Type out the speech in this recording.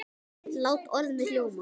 Lát orð mitt ljóma.